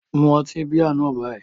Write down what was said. Mu ọtí bíà náà báyìí